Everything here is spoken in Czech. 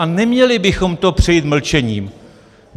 A neměli bychom to přejít mlčením.